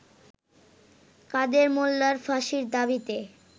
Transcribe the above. কাদের মোল্লার ফাঁসির দাবিতে